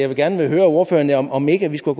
vil gerne høre ordføreren om ikke vi skulle